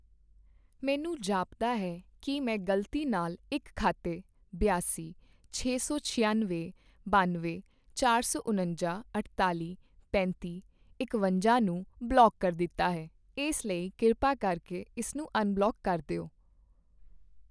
ਮੈਨੂੰ ਜਾਪਦਾ ਹੈ ਕੀ ਮੈਂ ਗ਼ਲਤੀ ਨਾਲ ਇੱਕ ਖਾਤੇ ਬਿਆਸੀ, ਛੇ ਸੌ ਛਿਆਨਵੇਂ, ਬਨਵੇਂ, ਚਾਰ ਸੌ ਉਣੰਜਾ, ਅਠਤਾਲ਼ੀ, ਪੈਂਤੀ, ਇਕਵੰਜਾ ਨੂੰ ਬਲੌਕ ਕਰ ਦਿੱਤਾ ਹੈ ਇਸ ਲਈ ਕਿਰਪਾ ਕਰਕੇ ਇਸ ਨੂੰ ਅਨਬਲੌਕ ਕਰ ਦਿਓ।